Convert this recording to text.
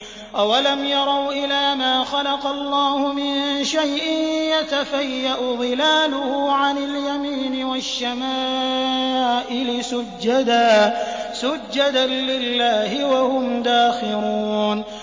أَوَلَمْ يَرَوْا إِلَىٰ مَا خَلَقَ اللَّهُ مِن شَيْءٍ يَتَفَيَّأُ ظِلَالُهُ عَنِ الْيَمِينِ وَالشَّمَائِلِ سُجَّدًا لِّلَّهِ وَهُمْ دَاخِرُونَ